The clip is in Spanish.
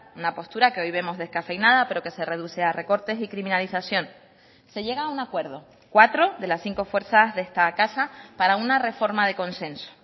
una postura que hoy vemos descafeinada pero que se reduce a recortes y criminalización se llega a un acuerdo cuatro de las cinco fuerzas de esta casa para una reforma de consenso